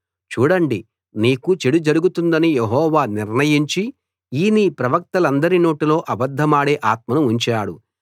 చూడండి నీకు చెడు జరుగుతుందని యెహోవా నిర్ణయించి ఈ నీ ప్రవక్తలందరి నోటిలో అబద్ధమాడే ఆత్మను ఉంచాడు